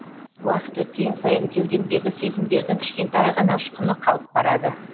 уақыт өткен сайын кеудемдегі сезімдердің кішкентай ғана ұшқыны қалып барады